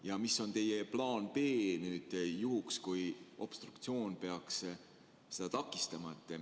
Ja mis on teie plaan B juhuks, kui obstruktsioon peaks seda takistama?